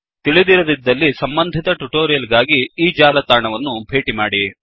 ತಿಳಿದಿರದಿದ್ದಲ್ಲಿ ಸಂಬಂಧಿತ ಟ್ಯುಟೋರಿಯಲ್ ಗಾಗಿ ಈ ಜಾಲತಾಣವನ್ನು ಭೇಟಿ ಮಾಡಿ